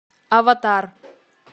аватар